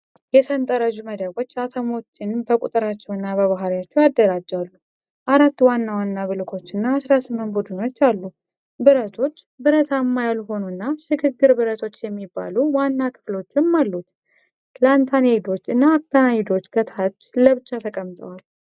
የሰንጠረዡ መደቦች አተሞችን በቁጥራቸው እና በባሕሪያቸው ያደራጃሉ። አራት ዋና ዋና ብሎኮችና 18 ቡድኖች አሉ። ብረቶች፣ ብረታማ ያልሆኑ እና ሽግግር ብረቶች የሚባሉ ዋና ክፍሎችም አሉት። ላንታናይዶች እና አክቲናይዶች ከታች ለብቻ ተቀምጠዋል።